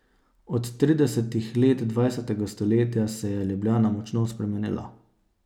Od tridesetih let dvajsetega stoletja se je Ljubljana močno spremenila.